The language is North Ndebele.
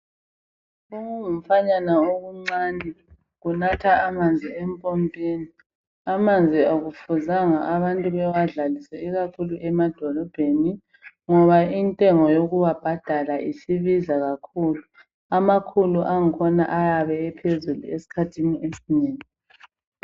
Okungumfanyana okuncane kunatha amanzi empompini. Amanzi akufuzanga abantu bewadlalise ikakhulu emadolobheni ngoba inyengo yokuwabhadala isibiza kakhulu. Amakhulu angikhona ayabe ephezulu esikhathini esinengi.